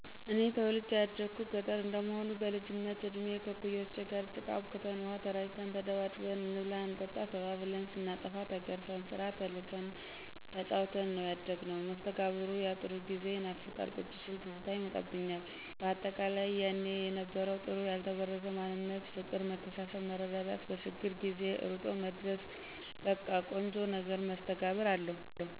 እኔ ተወልጀ ያደኩት ገጠረ እንደመሆኑ በልጅነት እድሜ ከእኩያወቸ ጋር ጭቃ አቡክተን፣ ውሃ ተራጭተን፣ ተደባድበን፣ እንብላ እንጠጣ ተባብልን፣ ስናጠፋ ተገርፈን፣ ስራ ተልከን ተጫውተን ነው ያደግነው። መስተጋብሩ ያጥሩ ጊዜ ይናፍቃል ቁጭ ስል ትዝታ ይመጣብኞል በአጠቃላይ የኔ የነበረው ጥሩ ያልተበረዘ ማንነት ፍቅር መተሳሰብ መረዳዳት በችግር ጊዜ እሮጦ መድረስ በቀ ቆንጆ ነገር መስተጋብር አለው።